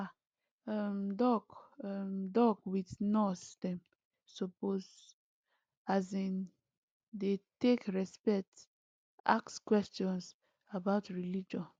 ah um doc um doc with nurse dem supposeas in dey take respect ask questions about religion